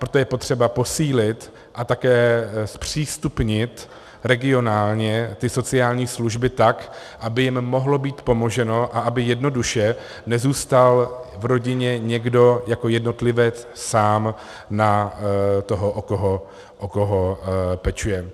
Proto je potřeba posílit a také zpřístupnit regionálně ty sociální služby tak, aby jim mohlo být pomoženo a aby jednoduše nezůstal v rodině někdo jako jednotlivec sám na toho, o koho pečuje.